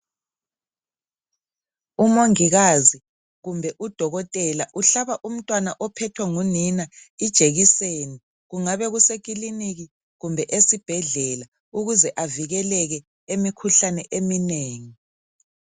Umongikazi kumbe udokotela uhlaba umntwana ophethwe ngunina ijekiseni. Kungaba kusekiliniki, kumbe esibhedlela. Ukuze avikeleke, emikhuhlaneni eminengi.